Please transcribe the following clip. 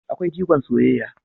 Akwai jigon soyayya